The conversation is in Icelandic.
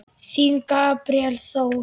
Þinn, Gabríel Þór.